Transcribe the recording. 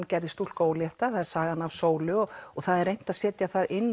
gerði stúlku ólétta sagan af sólu það er reynt að setja það inn